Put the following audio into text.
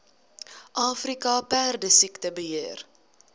afrika perdesiekte beheer